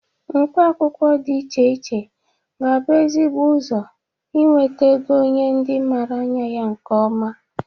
Mkpa akwụkwọ dị iche iche ga-abụ ezigbo ụzọ inwete ego nye ndị mara anya ya nke ọma.